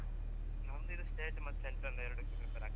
ನಮ್ದು ಇದು state ಮತ್ತೆ central ಎರಡಕ್ಕೂ prepare ಆಗ್ತಾ ಇದ್ದೀನಿ ಇವಾಗಾ.